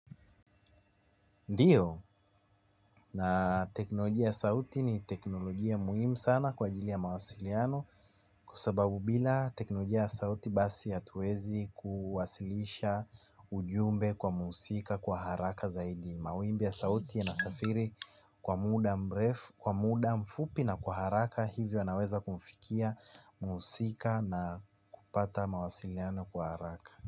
Ndiyo na teknolojia ya sauti ni teknolojia muhimu sana kwa ajili ya mawasiliano kwasababu bila teknolojia ya sauti basi hatuwezi kuwasilisha ujumbe kwa muhusika kwa haraka zaidi. Mawimbi ya sauti ya nasafiri kwa muda mfupi na kwa haraka hivyo yanaweza kumfikia muhusika na kupata mawasiliano kwa haraka.